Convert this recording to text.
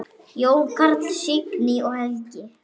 Jón Karl, Signý og Helgi.